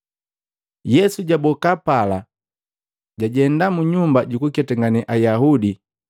Yesu jaboka pala, jajenda munyumba jukuketangane Ayaudi,